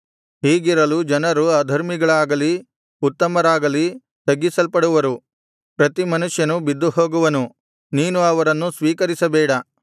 ಹೀಗಿರಲು ಜನರು ಅಧರ್ಮಿಗಳಾಗಲಿ ಉತ್ತಮರಾಗಲಿ ತಗ್ಗಿಸಲ್ಪಡುವರು ಪ್ರತಿ ಮನುಷ್ಯನು ಬಿದ್ದುಹೋಗುವನು ನೀನು ಅವರನ್ನು ಸ್ವೀಕರಿಸಬೇಡ